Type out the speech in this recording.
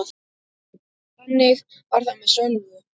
Þannig var það með Svövu.